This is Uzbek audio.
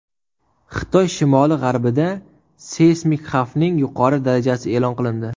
Xitoy shimoli-g‘arbida seysmik xavfning yuqori darajasi e’lon qilindi.